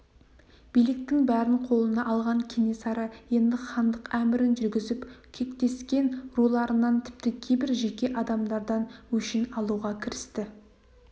биліктің бәрін қолына алған кенесары енді хандық әмірін жүргізіп кектескен руларынан тіпті кейбір жеке адамдардан өшін алуға кірісті